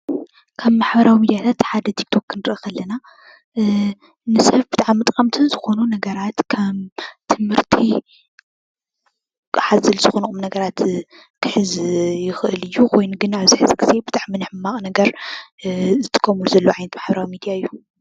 ካብ ማሕበራዊ ሚድያታት ሓደ ቲክቶክ ክንሪኢ ከለና ንሰብ ብጣዕሚ ጠቐምቲ ዝኾኑ ነገራት ከም ትምህርቲ ሓዘል ዝኾኑ ቁምነገራት ክሕዝ ይኽእል እዩ። ኮይኑ ግና ኣብዚ ሕዚ ጊዜ ብጣዕሚ ንሕማቕ ነገር ዝጥቀምሉ ዘለው ዓይነት ማሕበራዊ ሚድያ እዩ፡፡